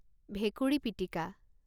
ভেকুৰী পিটিকা